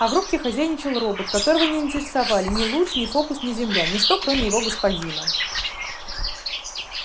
а в рубке хозяйничал робот которого не интересовали ни луч ни фокус ни земля ничто кроме его господина